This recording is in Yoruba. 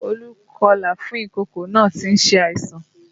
Olú kọlà fún ìkókó náà tí ń ṣe àìsàn